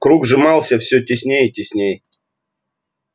круг сжимался все теснее и теснее